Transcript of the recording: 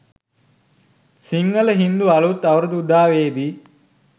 සිංහල හින්දු අලුත් අවුරුදු උදාවේදී